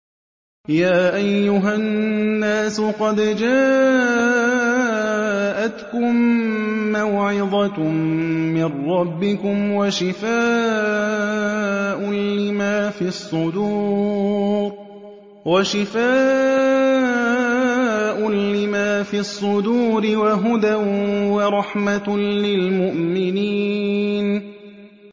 يَا أَيُّهَا النَّاسُ قَدْ جَاءَتْكُم مَّوْعِظَةٌ مِّن رَّبِّكُمْ وَشِفَاءٌ لِّمَا فِي الصُّدُورِ وَهُدًى وَرَحْمَةٌ لِّلْمُؤْمِنِينَ